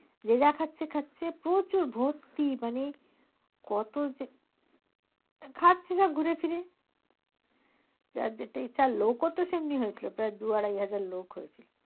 যে যা খাচ্ছে খাচ্ছে প্রচুর ভর্তি মানে, কতো যে, খাচ্ছে যা ঘুরে ফিরে যার যেটা ইচ্ছা লোক ও তো সেরকমই হয়েছিলো প্রায় দুই আড়াই হাজার লোক হয়েছিলো।